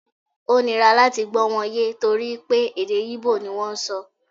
O nira láti gbó̩ wọn ye tori pe èdè íbò ni wọn n sọ